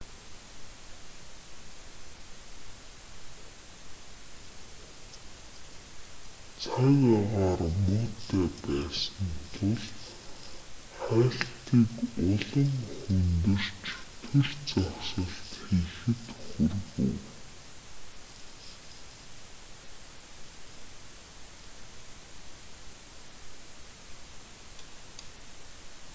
цаг агаар муутай байсан тул хайлтыг улам хүндэрч түр зогсолт хийхэд хүргэв